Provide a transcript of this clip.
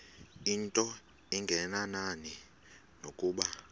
into engenani nokuba